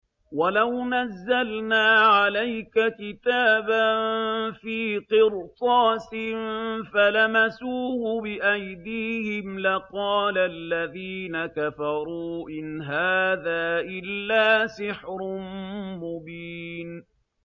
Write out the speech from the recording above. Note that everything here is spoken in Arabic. وَلَوْ نَزَّلْنَا عَلَيْكَ كِتَابًا فِي قِرْطَاسٍ فَلَمَسُوهُ بِأَيْدِيهِمْ لَقَالَ الَّذِينَ كَفَرُوا إِنْ هَٰذَا إِلَّا سِحْرٌ مُّبِينٌ